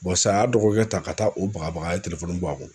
sa a y'a dɔgɔkɛ ta ka taa o bagabaga a ye bɔ a bolo.